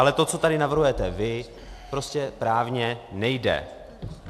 Ale to, co tady navrhujete vy, prostě právně nejde!